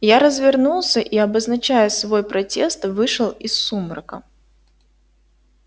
я развернулся и обозначая свой протест вышел из сумрака